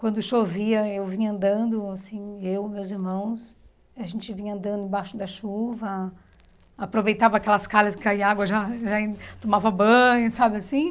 Quando chovia, eu vinha andando, assim, eu, meus irmãos, a gente vinha andando embaixo da chuva, aproveitava aquelas calhas que caía água, já já tomava banho, sabe assim?